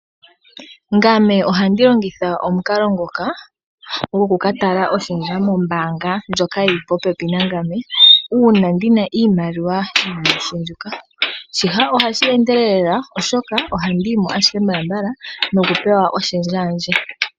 Ngame ohandi longitha omukalo ngoka goku ka tala oshendja mombaanga ndjoka yi li popepi nangame, uuna ndi na iimaliwa inayi shendjuka. Shika ohashi endelele lela, oshoka ohandi yi mo ashike mbalambala nokupewa oshendja yandje.